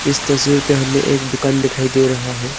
इस तस्वीर पे हमें एक दुकान दिखाई दे रहा है।